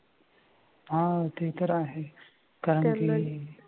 हा ते तर आहे कारण की